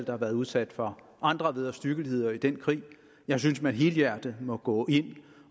har været udsat for andre vederstyggeligheder i den krig jeg synes man helhjertet må gå ind